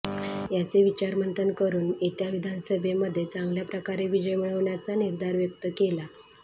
याचे विचारमंथन करून येत्या विधानसभेमध्ये चांगल्याप्रकारे विजय मिळवण्याचा निर्धार व्यक्त केला